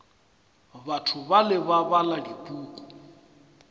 batho bale ba bala dipuku